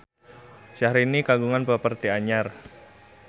Syahrini kagungan properti anyar